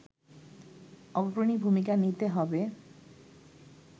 অগ্রণী ভূমিকা নিতে হবে